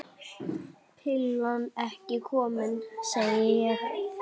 Pillan ekki komin, segi ég.